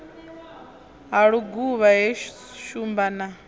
ha luguvha he shumba na